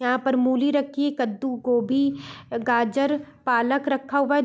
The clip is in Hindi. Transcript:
यहां पर मूली रखी है कद्दू गोभी गाजर पालक रक्खा हुआ है।